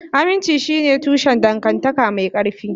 Aminci shine tushen dangantaka mai ƙarfi.